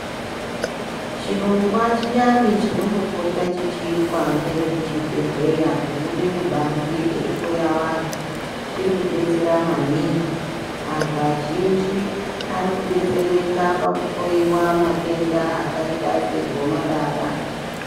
Chirongwa chiyani chinombopota chichiitwa ngevekuzvibhendleya kubuda kubanze eihloya anhu chiri kudetsera maningi, antu vazhinji ari kudetsereka pakuhloiwa matenda akaita segomarara.